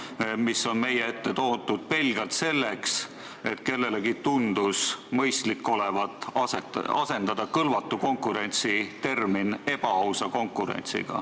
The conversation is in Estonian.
See eelnõu on meie ette toodud pelgalt selleks, et kellelegi tundus olevat mõistlik asendada termin "kõlvatu konkurents" terminiga "ebaaus konkurents".